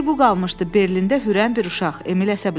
Bir bu qalmışdı, Berlində hürən bir uşaq, Emil əsəbləşdi.